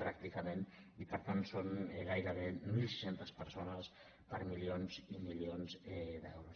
pràcticament i per tant són gairebé mil sis centes persones per a milions i milions d’euros